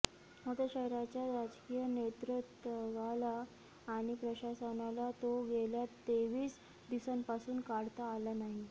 मात्र शहराच्या राजकीय नेतृत्वाला आणि प्रशासनाला तो गेल्या तेवीस दिवसांपासून काढता आला नाही